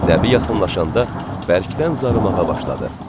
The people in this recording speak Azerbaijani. Nəbi yaxınlaşanda bərkdən zarımağa başladı.